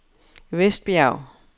Vestbjerg